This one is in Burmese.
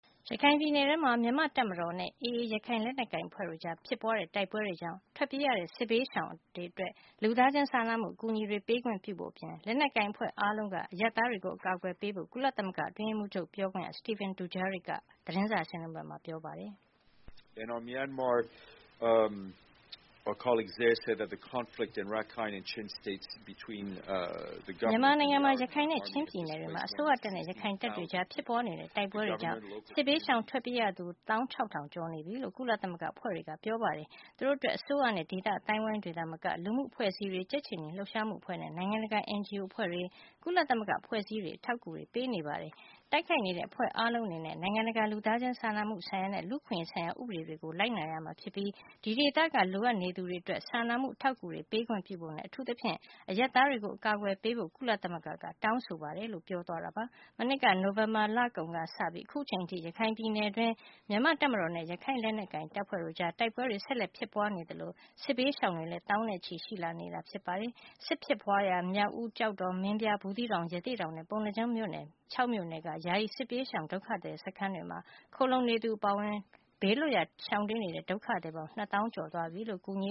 ရခိုင်ပြည်နယ်ထဲမှာ မြန်မာ့တပ်မတော်နဲ့ AA ရခိုင်လက်နက်ကိုင်အဖွ့ဲတို့ကြား ဖြစ်ပွားတဲ့တိုက်ပွဲတွေကြောင့် ထွက်ပြေးရတဲ့ စစ်ဘေးရှောင်တွေ အတွက် လူသားချင်းစာနာမှု အကူအညီတွေ ပေးခွင့်ပြုဖို့အပြင် လက်နက်ကိုင်အဖွဲ့အားလုံးက အရပ်သားတွေကို အကာကွယ်ပေးကြဖို့ ကုလသမဂ္ဂအတွင်းရေးမှူးချုပ်ရဲ့ ပြောခွင့်ရ Stephane Dujarric က တနင်္လာနေ့ နယူးရောက် ကုလသမဂ္ဂ ဌာနချုပ်က သတင်းစာရှင်းလင်းပွဲမှာ ပြောပါတယ်။ “မြန်မာနိုင်ငံမှာ ရခိုင်နဲ့ ချင်းပြည်နယ်တွေမှာ အစိုးရတပ်နဲ့ ရခိုင်တပ်တွေကြား ဖြစ်ပွားနေတဲ့ တိုက်ပွဲတွေကြောင့် စစ်ဘေးရှောင် ထွက်ပြေးရသူ ၁၆၀၀၀ ကျော်နေပြီလို့ ကုလသမဂ္ဂအဖွဲ့တွေက ပြောပါတယ်။ သူတို့အတွက် အစိုးရနဲ့ ဒေသအသိုင်းအဝိုင်းတွေ သာမက လူမှုအဖွဲ့အစည်းတွေ၊ ကြက်ခြေနီလှုပ်ရှားမှုအဖွဲ့နဲ့ နိုင်ငံတကာ NGO အဖွဲ့တွေ၊ ကုလသမဂ္ဂအဖွဲ့အစည်းတွေက အထောက်အကူတွေ ပေးနေပါတယ်။ တိုက်ခိုက်နေတဲ့ အဖွဲ့အားလုံးအနေနဲ့ နိုင်ငံတကာ လူသားချင်းစာနာမှုဆိုင်ရာနဲ့ လူ့အခွင့်ရေးဆိုင်ရာ ဥပဒေဆိုင်ရာတွေကို လိုက်နာရမှာ ဖြစ်ပြီး ဒီဒေသက လိုအပ်နေသူတွေအတွက် စာနာမှုအထောက်အကူတွေ ပေးခွင့်ပြုဖို့နဲ့ အထူးသဖြင့် အရပ်သားတွေကို အကာကွယ်ပေးဖို့ ကုလသမဂ္ဂက တောင်းဆိုပါတယ်။” မနှစ်က နိုဝင်ဘာလကုန်ကစပြီး အခုချိန်ထိ ရခိုင်ပြည်နယ်အတွင်း မြန်မာ့တပ်မတော်နဲ့ ရခိုင်လက်နက်ကိုင် အဖွဲ့တို့ကြား တိုက်ပွဲတွေ ဆက်လက် ဖြစ်ပွားနေသလို စစ်ဘေးရှောင်တွေလည်း သောင်းနဲ့ ချီရှိလာနေတာပါ။ စစ်ဖြစ်ပွားရာ မြောက်ဦး၊ ကျောက်တော်၊ မင်းပြား၊ ဘူးသီးတောင်၊ ရသေ့တောင်နဲ့ ပုဏ္ဍားကျွန်း - မြို့နယ် ခြောက်မြို့နယ်က ယာယီ စစ်ပြေးစစ်ရှောင် ဒုက္ခသည်စခန်းတွေမှာ ခိုလှုံနေသူတွေအပါအဝင် ဘေးလွတ်ရာကို တိမ်းရှောင်နေကြရတဲ့ ဒုက္ခသည်ပေါင်း နှစ်သောင်းကျော်ရှိသွားပြီ လို့ အကူအညီ